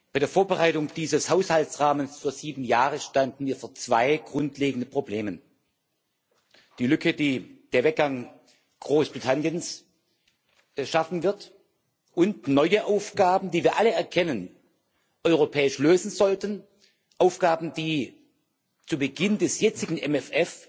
Bei der Vorbereitung dieses Haushaltsrahmens für sieben Jahre standen wir vor zwei grundlegenden Problemen der Lücke, die der Weggang Großbritanniens schaffen wird, und neue, Aufgaben, die wir, wie wir alle erkennen, europäisch lösen sollten, Aufgaben, die zu Beginn des jetzigen MFR